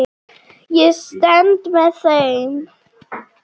Ég stend með þeim.